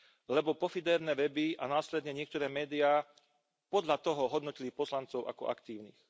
Lebo pofidérne weby a následne niektoré médiá podľa toho hodnotili poslancov ako aktívnych.